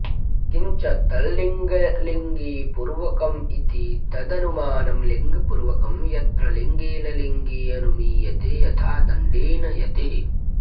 किञ्च तल्लिङ्गलिङ्गिपूर्वकमिति तदनुमानं लिङ्गपूर्वकं यत्र लिङ्गेन लिङ्गी अनुमीयते यथा दण्डेन यतिः